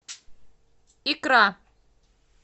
икра